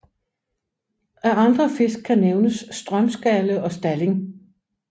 Af andre fisk kan nævnes strømskalle og stalling